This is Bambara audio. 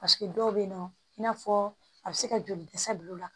Paseke dɔw bɛ yen nɔ i n'a fɔ a bɛ se ka joli dɛsɛ bil'u la